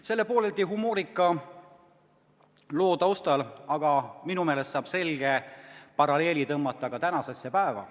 Selle pooleldi humoorika loo taustal saab aga minu meelest selge paralleeli tõmmata ka tänasesse päeva.